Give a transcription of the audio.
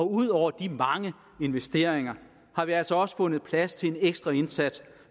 ud over de mange investeringer har vi altså også fundet plads til en ekstra indsats